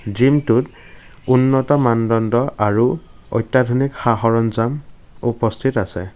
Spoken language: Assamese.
জিমটোত উন্নত মানদণ্ড আৰু অত্যাধুনিক সা-সৰঞ্জাম উপস্থিত আছে।